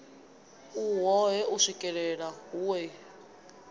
u wohe u swikelele hoea